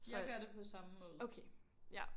Så. Okay ja